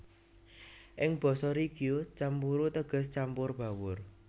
Ing basa Ryukyu chanpuru tegese campur bawur